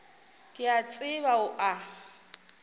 ke a tseba o a